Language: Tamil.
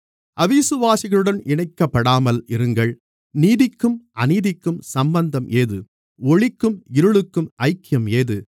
அவிசுவாசிகளுடன் இணைக்கப்படாமல் இருங்கள் நீதிக்கும் அநீதிக்கும் சம்பந்தம் ஏது ஒளிக்கும் இருளுக்கும் ஐக்கியம் ஏது